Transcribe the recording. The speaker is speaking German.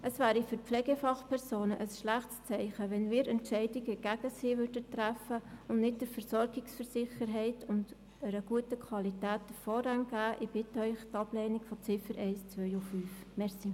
Es wäre für die Pflegefachpersonen ein schlechtes Zeichen, wenn wir Entscheidungen gegen sie träfen und nicht der Versorgungssicherheit und einer guten Versorgungsqualität den Vorrang gäben.